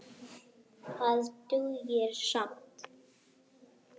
Það dugir skammt.